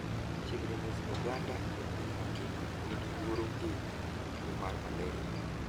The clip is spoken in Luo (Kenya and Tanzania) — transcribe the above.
Chiegni nus oganda e piny ngima nigi luoro ni gin tuo mar malaria.